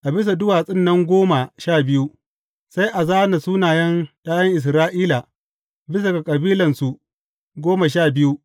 A bisa duwatsun nan goma sha biyu, sai a zāna sunayen ’ya’yan Isra’ila bisa ga kabilansu goma sha biyu.